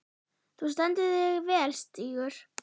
Þú stendur þig vel, Stígur!